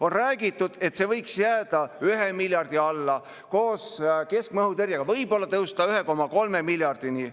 On räägitud, et see võiks jääda alla 1 miljardi, koos keskmaa õhutõrjega võib‑olla tõusta 1,3 miljardini.